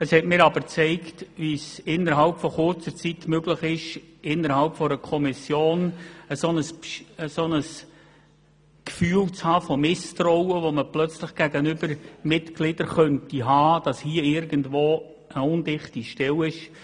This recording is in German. Dies hat mir aber gezeigt, wie innerhalb kurzer Zeit in einer Kommission plötzlich ein Gefühl von Misstrauen gegenüber Mitgliedern aufkommen könnte, oder der Verdacht, dass irgendwo eine undichte Stelle sein könnte.